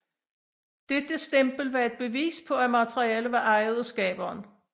Dette stempel var et bevis på at materialet var ejet af skaberen